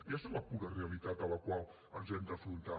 aquesta és la pura realitat a la qual ens hem d’afrontar